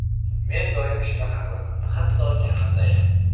Men doim shunaqa qilaman, hatto kanaldayam.